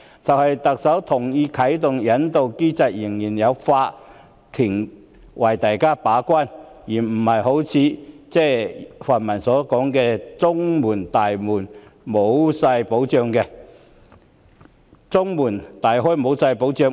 即使特首同意啟動引渡機制，仍有法院擔當把關角色，而不是像泛民所說的中門大開和沒有任何保障。